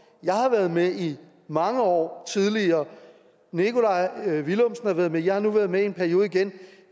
jeg har været med i mange år tidligere nikolaj villumsen har været med og jeg har nu været med i en periode igen